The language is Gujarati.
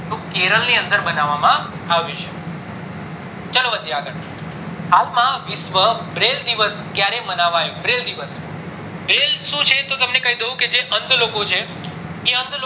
તો કેરલ ની અંદર બનવા માં આવ્યું છે ચલો વધીએ આગળ હાલ વિશ્વ braille દિવસ ક્યારે માનવામાં આવ્યો braille દિવસ braille શું છે એ તમને કૈદઉં કે જે અંધ લોકો છે એ અંધ